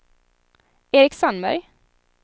Eric Sandberg